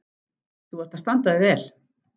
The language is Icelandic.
Þú ert að standa þig vel.